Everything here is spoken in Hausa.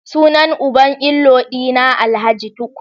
Sunan uban inlaw dina alhj tukur.